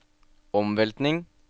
omveltning